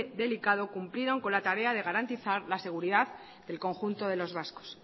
delicado cumplieron con la tarea de garantizar la seguridad del conjunto de los vascos